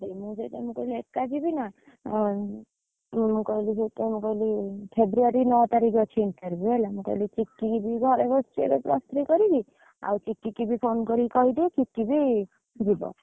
ମୁଁ ସେଥିପାଇଁ କହିଲି ଏକ ଯିବିନା, ଆଉ ମୁଁ କହିଲି ସେଥିପାଇଁ କହିଲି ଫ୍ରେବୃୟାରୀ ନଅ ତାରିଖ ରେ ଅଛି interview ହେଲା ମୁଁ କହିଲି ଚିନକି ବି ଘରେ ବସଛି plus three କରିକି, ଆଉ ଚିନକି କି ବି phone କରିକି କହିଦିଏ ଚିନକି, ବି ଯିବ।